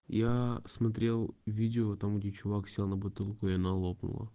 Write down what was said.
я смотрел видео там где чувак сел на бутылку и она лопнула